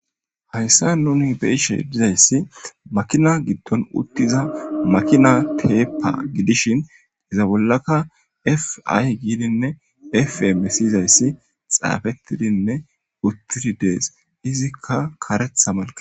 Hayissan nuni be'ishshe dizayiss makina giddonni uttiza makina teppa gidishshin izza bollakka f I gidinine f m soyizayiss xafettidi uttida dees.izzikka kareththa malke